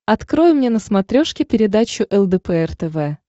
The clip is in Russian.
открой мне на смотрешке передачу лдпр тв